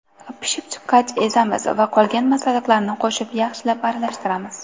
Pishib chiqqach, ezamiz va qolgan masalliqlarni qo‘shib yaxshilab aralashtiramiz.